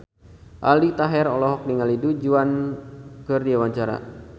Aldi Taher olohok ningali Du Juan keur diwawancara